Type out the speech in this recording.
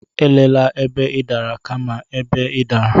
Elela ebe ị dara, kama ebe ị dara.